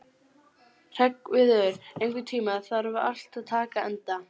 Hreggviður, einhvern tímann þarf allt að taka enda.